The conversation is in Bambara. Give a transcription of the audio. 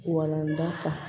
Walanda kan